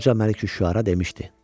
Qoca Məliküşşüara demişdi: